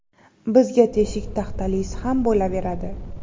Bizga teshik taxtalisi ham bo‘laveradi.